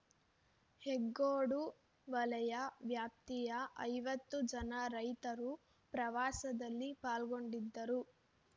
ಹೆಗ್ಗೋಡು ವಲಯ ವ್ಯಾಪ್ತಿಯ ಐವತ್ತು ಜನ ರೈತರು ಪ್ರವಾಸದಲ್ಲಿ ಪಾಲ್ಗೊಂಡಿದ್ದರು